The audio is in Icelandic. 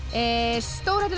stórhættulega